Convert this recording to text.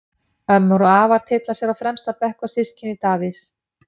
Ömmur og afar tylla sér á fremsta bekk og systkini Davíðs.